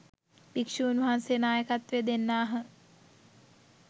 භික්‍ෂුන් වහන්සේ නායකත්වය දෙන්නාහ